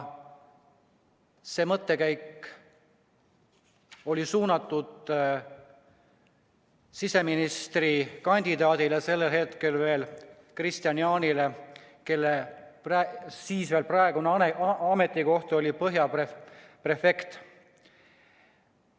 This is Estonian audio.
Ma pidasin silmas siseministrikandidaat Kristian Jaanit, kelle senine ametikoht oli Põhja prefektuuri prefekt.